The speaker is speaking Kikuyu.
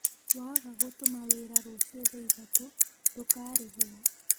Waga gũtuma wĩra rũciũ thaa ithatũ ndũkarĩhwo